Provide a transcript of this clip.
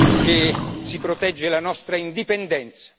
che si protegge la nostra indipendenza.